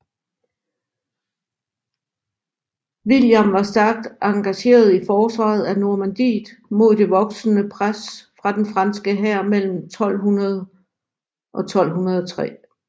William var stærkt engageret i forsvaret af Normandiet mod det voksende pres fra den franske hær mellem 1200 og 1203